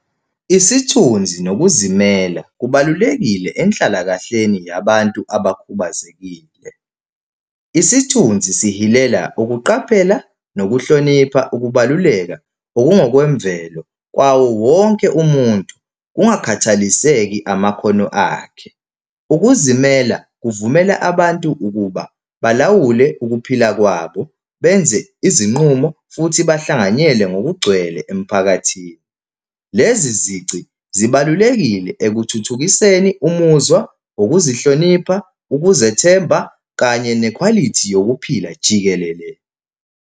Isithunzi nokuzimela kubalulekile enhlalakahleni yabantu abakhubazekile. Isithunzi sihilela ukuqaphela nokuhlonipha ukubaluleka okungokwemvelo kwawo wonke umuntu, kungakhathaliseki amakhono akhe. Ukuzimela kuvumela abantu ukuba balawule ukuphila kwabo, benze izinqumo futhi bahlanganyele ngokugcwele emphakathini. Lezi zici zibalulekile ekuthuthukiseni umuzwa, ukuzihlonipha, ukuzethemba kanye nekhwalithi yokuphila jikelele.